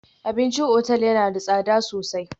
Abincin otal yana da tsada sosai